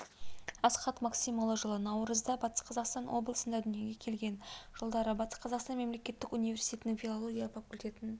асхат максимұлы жылы наурызда батыс қазақстан облысында дүниеге келген жылдары батыс қазақстан мемлекеттік университетінің филология факультетін